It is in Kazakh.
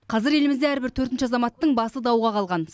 қазір елімізде әрбір төртінші азаматтың басы дауға қалған